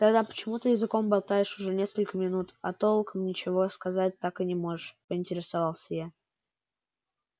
тогда почему ты языком болтаешь уже несколько минут а толком ничего сказать так и не можешь поинтересовался я